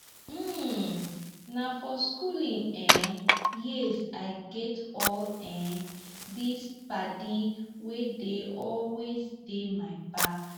um na for skooling um years i get all um these paddy wey dey always dey my back.